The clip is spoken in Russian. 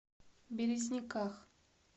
березниках